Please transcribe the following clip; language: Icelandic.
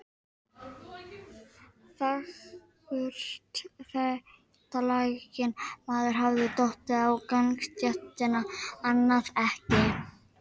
Þar með eykst hreyfanleiki jónanna, og þær flytja rafstraum auðveldar.